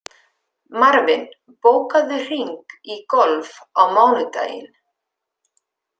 Marvin, bókaðu hring í golf á mánudaginn.